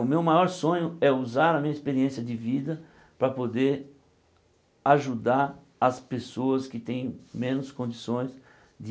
O meu maior sonho é usar a minha experiência de vida para poder ajudar as pessoas que têm menos condições de